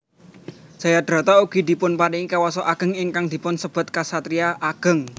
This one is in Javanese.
Jayadrata ugi dipunparingi kuwasa ageng ingkang dipun sebat ksatriya ageng